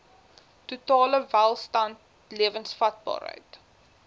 totale welstand lewensvatbaarheid